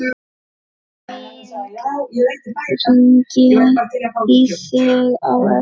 Hringi í þig á eftir.